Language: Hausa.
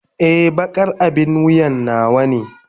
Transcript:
Ee, baƙar abin wuya nawa ne.